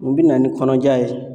U bɛ na ni kɔnɔja ye.